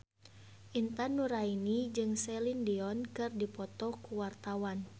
Intan Nuraini jeung Celine Dion keur dipoto ku wartawan